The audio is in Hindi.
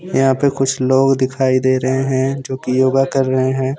यहां पे कुछ लोग दिखाई दे रहे हैं जो की योगा कर रहे हैं।